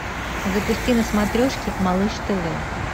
запусти на смотрешке малыш тв